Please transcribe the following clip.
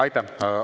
Aitäh!